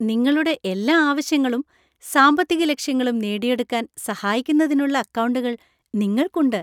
നിങ്ങളുടെ എല്ലാ ആവശ്യങ്ങളും സാമ്പത്തിക ലക്ഷ്യങ്ങളും നേടിയെടുക്കാന്‍ സഹായിക്കുന്നതിനുള്ള അക്കൗണ്ടുകൾ നിങ്ങൾക്കുണ്ട്.